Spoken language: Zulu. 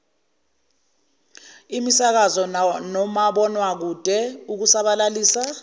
imisakazo nomabonwakude ukusabalalisa